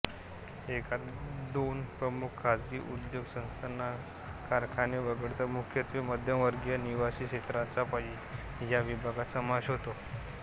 एखाद दोन प्रमुख खासगी उद्योग संस्थाकारखाने वगळता मुख्यत्वे मध्यमवर्गीय निवासी क्षेत्रांचा या विभागात समावेश होतो